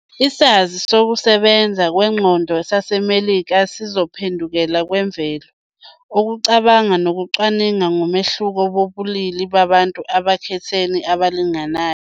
Isazi sokusebenza kwengqondo saseMelika sokuziphendukela kwemvelo, ukucabanga nokucwaninga ngomehluko wobulili babantu ekukhetheni abalingani.